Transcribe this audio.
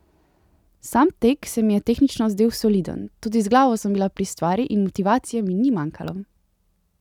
Sam tek se mi je tehnično zdel soliden, tudi z glavo sem bila pri stvari in motivacije mi ni manjkalo.